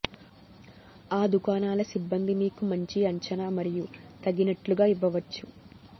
ఆ దుకాణాల సిబ్బంది మీకు మంచి అంచనా మరియు తగినట్లుగా ఇవ్వవచ్చు